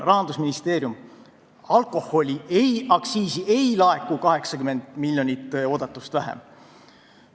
"Rahandusministeerium: alkoaktsiisi ei laeku 80 miljonit oodatust vähem.